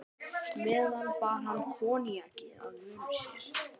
meðan bar hann koníakið að vörum sér.